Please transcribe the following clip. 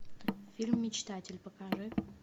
фильм мечтатель покажи